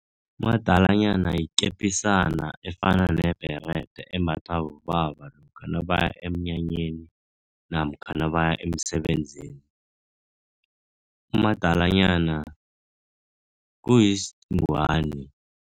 Umadalanyana yikepisisana efana nebherede embathwa bobaba, lokha nabaya emnyanyeni namkha nabaya emsebenzini. Umadalanyana kuyingwani.